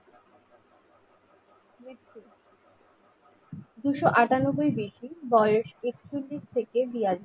দুশ আটানব্বই BC বয়স এক চল্লিশ থেকে বিয়াল্লিস